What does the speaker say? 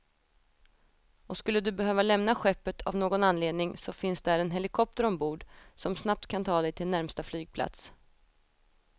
Och skulle du behöva lämna skeppet av någon anledning så finns där en helikopter ombord, som snabbt kan ta dig till närmsta flygplats.